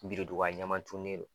Birinduga ɲɛman tunnen don